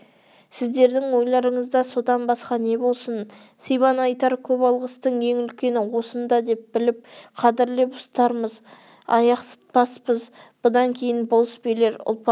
сіздердің ойларыңызда содан басқа не болсын сибан айтар көп алғыстың ең үлкені осында деп біліп қадірлеп ұстармыз аяқсытпаспыз бұдан кейін болыс билер ұлпанды